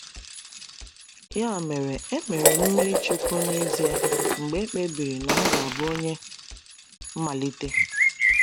Ya mere, e mere m mmiri chukwu n’ezie mgbe e kpebiri na m ga-abụ onye mmalite.